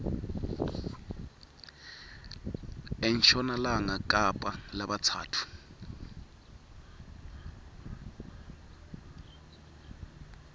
enshonalanga kapa labatsatfu